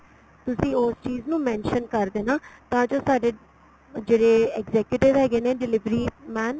ਤੁਸੀਂ ਉਸ ਚੀਜ ਨੂੰ mention ਕਰ ਦੇਣਾ ਤਾਂ ਜੋ ਸਾਡੇ ਜਿਹੜੇ adjective ਹੈਗੇ ਨੇ delivery man